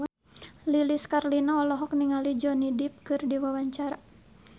Lilis Karlina olohok ningali Johnny Depp keur diwawancara